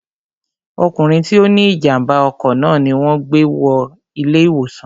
ọkùnrin tí ó ní ìjàmbá ọkọ̀ náà ni wọn gbé wọ ilé ìwòsàn